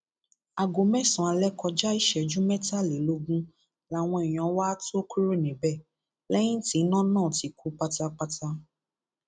aago mẹsànán alẹ kọjá ìṣẹjú mẹtàlélógún làwọn èèyàn wá tóó kúrò níbẹ lẹyìn tí iná náà ti kú pátápátá